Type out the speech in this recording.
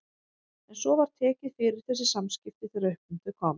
En svo var tekið fyrir þessi samskipti þegar upp um þau komst.